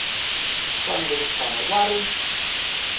fanele ku tshama va ri